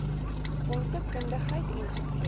fondse kundigheid ens